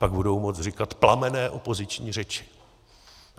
Pak budou moci říkat plamenné opoziční řeči.